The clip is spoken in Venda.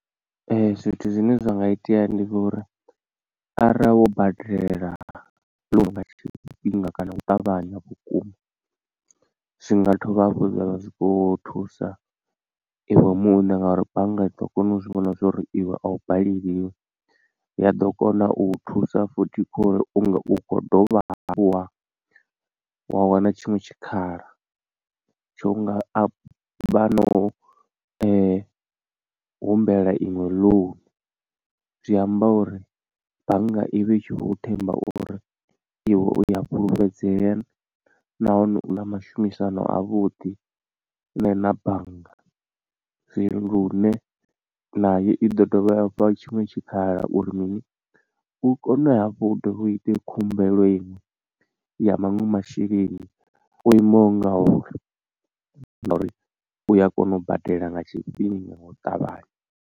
Zwithu zwine zwa nga itea ndi zwa uri arali wo badela nga tshifhinga kana u ṱavhanya vhukuma zwi nga dovha hafhu zwavha zwikho thusa iwe muṋe ngauri bannga i ḓo kona u zwi vhona zwori iwe a u baleliwi, ya ḓo kona u thusa futhi khori u kho dovha hafhuha wa wana tshiṅwe tshikhala tsho nga vha no humbela iṅwe loan. Zwi amba uri bannga i vhe i tshi vho themba uri iwe u ya fhulufhedzea nahone u na mashumisano avhuḓi ne na bannga zwi lune nayo i ḓo dovha ya u fha tshiṅwe tshikhala uri mini u kone hafhu u ite khumbelo iṅwe ya maṅwe masheleni o imaho nga uri nga uri uya kona u badela nga tshifhinga nga u ṱavhanya.